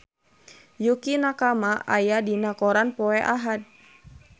Yukie Nakama aya dina koran poe Ahad